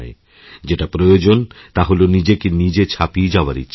যেটা প্রয়োজন তা হল নিজেকে নিজে ছাপিয়ে যাওয়ারইচ্ছা